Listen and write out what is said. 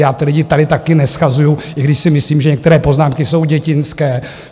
Já ty lidi tady také neshazuju, i když si myslím, že některé poznámky jsou dětinské.